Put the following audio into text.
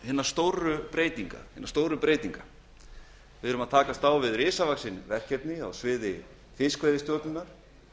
hinna stóru breytinga við erum að takast á við risavaxin verkefni á sviði fiskveiðistjórnar